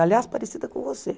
Aliás, parecida com você.